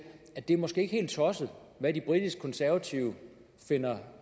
at det måske ikke er helt tosset hvad de britiske konservative finder